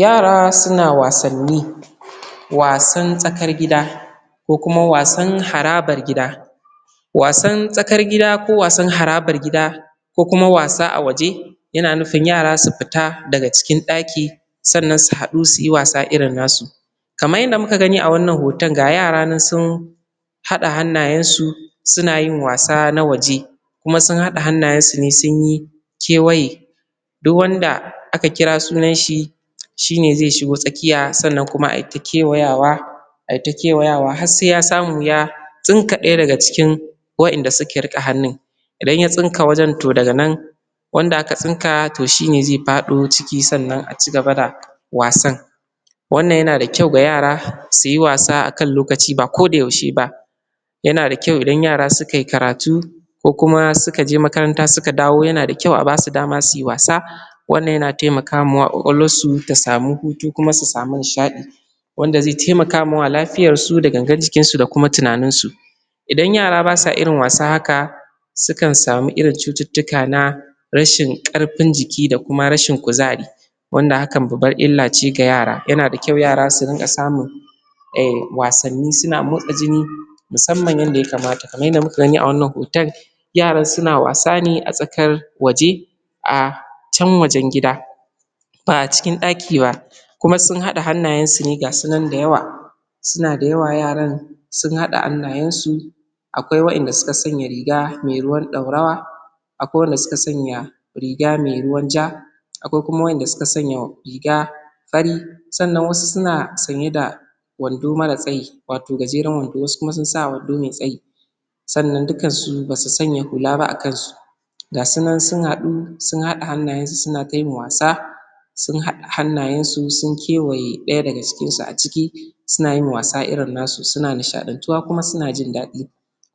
Yara suna wasanni wasn tsakar gida ko kuma wasan harabar gida wasan tsakar gida ko wasan harabar gida ko kuma wasa awaje yana nufin yara su fita daga cikin ɗaki sannan su haɗu su yi wasa irin nasu. Kamar yadda muka gani a wannan hoton, ga yara nan sun haɗa hannayensu suna yin wasa irin na waje. Kuma sun haɗa hannayensu ne sun yi kewaye, Duk wanda aka kira sunanshi shi ne zai shiga tsakiya, sannan kuma ayi ta kewayawa a yi ta kewayawa har sai ya samu ya tsinka ɗaya daga cikin waɗanda suke riƙe hannun. Idan ya tsinka wajen to daga nan wanda aka tsinka to shi ne zai faɗo ciki sannan a ci gaba da wasa. wannan yana da kyau ga yara su yi wasa ba kodayaushe ba. Yana da kayau idan yara suka yi karatu ko kuma suka je makaranta suka dawo yana da kyau a ba su dama su yi wasa. wannan yana taimaka wa ƙwaƙwalwarsu ta samu hutu, kuma su samu nishaɗi. Wanda zai taimaka ma lafiyarsu da gangar jikinsu da kuma tunaninsu. Idan yara ba sa yin wasa irin haka Sukan samu irin cututtuka na rashin ƙarfin jiki da rashin kuzari, wanda hakan babbar illa ce ga yara yana da kyau ga yara su rinka samun wasanni suna motsa jini kamar yadda ya kamata. Kamar yadda muka gani a wannan hoton yaran suna wasa ne a tsakar waje. a can wajen gida ba a cikin ɗaki ba, Kuma sun haɗa hannayensu ne ga su nan da yawa. Suna da yawa yaran sun haɗa hannayensu akwai waɗanda suka sanya riga mai ruwan ɗorawa akwai waɗanda suka sanya riga mai ruwan ja Akwai kuma wanda suka sanya riga mai fari sannan wasu suna sanye da wando mara tsayi wato gajeran wando. Wasu kuma sun sanya wando mai tsayi. Sannan dukansu ba su sanya hula ba a kansu, ga su nan sun haɗu sun haɗa hannayensu suna ta yin wasa. Sun haɗa hannayensu sun kewaye ɗaya daga cikinsu. ciki suna yin wasa irin nasu, suna nishaɗantuwa kuma suna jin daɗi.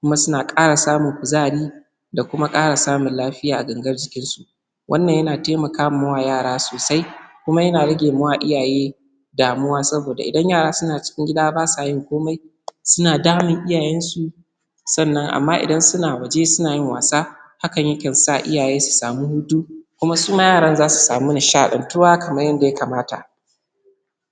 Kuma suna ƙara samun kuzari da kuma ƙara samun lafiya a gangar jikinsu, wanna yana taimaka ma wa yara sosai. kuma yana rage wa iyaye damuwa. Saboda idan yara suna cikin gida ba sa yin komai suna damun iyayensu Sannan amma idan suna waje suna wasa hakan zai sa iyaye su samu hutu kuma su ma yaran za su samu nishaɗantuwa kamar yadda ya kamata.